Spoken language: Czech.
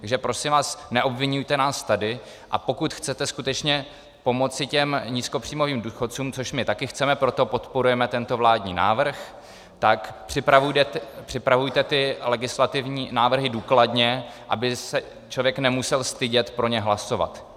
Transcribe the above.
Takže prosím vás, neobviňujte nás tady, a pokud chcete skutečně pomoci těm nízkopříjmovým důchodcům, což my také chceme, proto podporujeme tento vládní návrh, tak připravujte ty legislativní návrhy důkladně, aby se člověk nemusel stydět pro ně hlasovat.